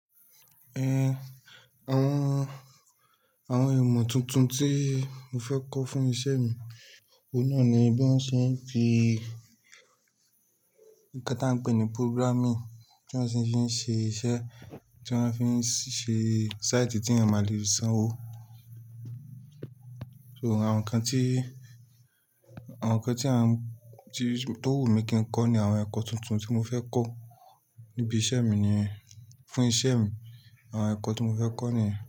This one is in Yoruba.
Àwọn, àwọn ìmọ̀ tuntun tí mo fẹ́ kọ́ fún ìṣe mi, òun náà ni bí wọ́n ṣe ń fi nǹkan tá a ń pè ní programming, tí wọ́n ṣì ń ṣe iṣẹ́, tí wọ́n fi ń ṣe site tí ẹeyan mà lèfi sanwó. So àwọn nǹkan tí, àwọn nǹkan tí àwọn tí, tó wù mí kí n kọ́ ni àwọn ẹ̀kọ́ tuntun tí mo fẹ́ kọ́ níbi iṣẹ́ mi niyen, fún ìṣe mi àwọn ẹ̀kọ́ tí mo fẹ́ kọ́ niyen.